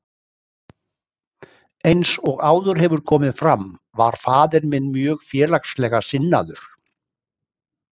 Eins og áður hefur komið fram var faðir minn mjög félagslega sinnaður.